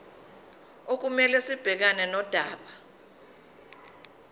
okumele sibhekane nodaba